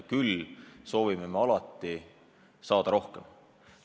Küll me soovime alati saada rohkem.